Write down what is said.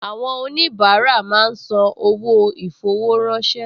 Àwọn oníbàárà máa ń san owó ì-fowó-ránṣẹ́